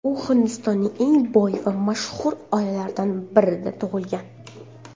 U Hindistonning eng boy va mashhur oilalaridan birida tug‘ilgan.